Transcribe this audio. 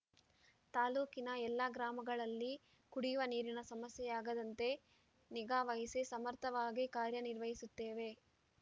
ತಾಲೂಕಿನ ಎಲ್ಲ ಗ್ರಾಮಗಳಲ್ಲಿ ಕುಡಿಯುವ ನೀರಿನ ಸಮಸ್ಯೆಯಾಗದಂತೆ ನಿಗಾವಹಿಸಿ ಸಮರ್ಥವಾಗಿ ಕಾರ್ಯನಿರ್ವಹಿಸುತ್ತೇವೆ